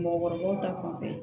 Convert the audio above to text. Mɔgɔkɔrɔbaw ta fanfɛ